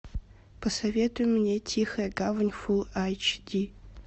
посоветуй мне тихая гавань фул айч ди